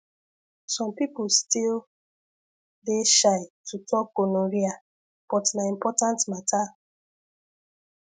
some people still dey shy to talk gonorrhea but na important matter